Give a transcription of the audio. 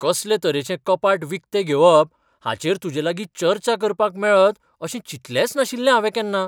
कसले तरेचें कपाट विकतें घेवप हाचेर तुजेलागीं चर्चा करपाक मेळत अशें चिंतलेंच नाशिल्लें हावें केन्ना.